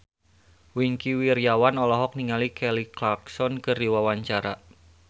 Wingky Wiryawan olohok ningali Kelly Clarkson keur diwawancara